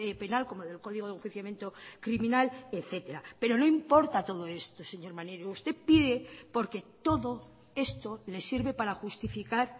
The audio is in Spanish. penal como del código de enjuiciamiento criminal etcétera pero no importa todo esto señor maneiro usted pide porque todo esto le sirve para justificar